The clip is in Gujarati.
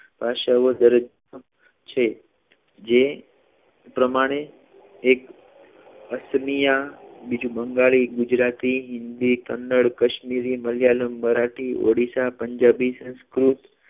ભાષાઓ દરેક છે જે પ્રમાણે એક આસમિય બીજું બંગાળી ગુજરાતી હિન્દી કનડ કશ્મીરી મલયાલમ મરાઠી ઓડિશા પંજાબી સંસ્કૃત ભાષાઓ દરેક છે